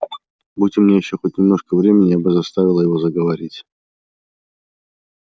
будь у меня ещё хоть немножко времени я бы заставила его заговорить